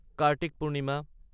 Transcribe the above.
Kartik Purnima